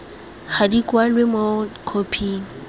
ga di kwalwe mo khophing